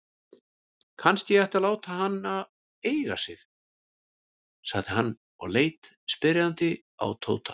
Kannski ég ætti að láta hana eiga sig? sagði hann og leit spyrjandi á Tóta.